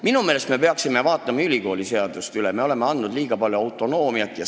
Minu meelest me peaksime ülikooliseaduse üle vaatama, me oleme ehk andnud neile liiga palju autonoomiat.